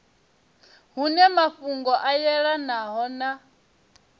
hune mafhungo a yelanaho na